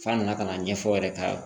F'a nana ka na ɲɛfɔ yɛrɛ ta